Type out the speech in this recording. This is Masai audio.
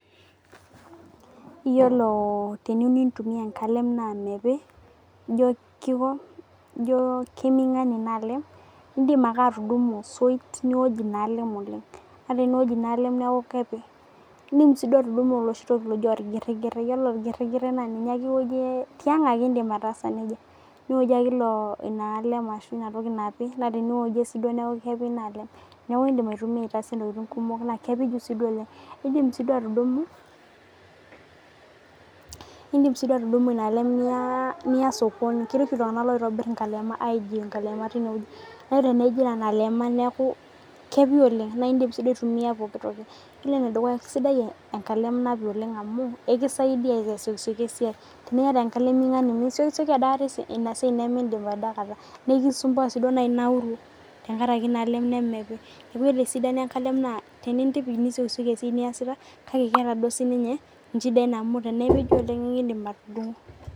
Iyiolo teniyeu nintumia enkalem naa meepi ijo keiming'ani ina alem idin ake atudumu soit niwoj ina alem oleng'. Ore pioj ona alem neeku keepij. Idim sii duo atudum oloshi toki aji orgirigire. Ore orgiregire naa ninye ake iwojie tiang' ake idim ataasa neija. Niojie ake ina alem ashu ina toki napi naa teniwojie sii duo neeku kepii ina alem . Neeku idim aitumia atojie ntokitin kumok naa kepiju sii duo oleng'. Idin sii duo atudumu idim sii duo atudumu ina alem niya sokoni keeti oshi iltung'ana oitobir inkalema aij inkalema tineweji. Ore tenejo nena alema neeku kepii oleng. Naa idim sii duo atumia pookin toki. Iyiolo ene dukuya kisidai enkalem napii oleng' amuu ikisaidia asiokisioki esai teniyata enkalem ming'ani misiokisioki adakata ina siai nemidip adakata niskisumbua sii duo amu inauru tenkaraki ina alem nemepii neeku ore esidano ina alem naa tenintipij nisiokisioki ina siai niyasita kake ketaa sii ninye inchidai enyanak amu tenepiju oleng ikidim atudung'o.